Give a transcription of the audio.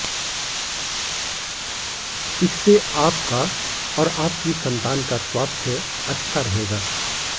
इससे आपका और आपकी संतान का स्वास्थ्य अच्छा रहेगा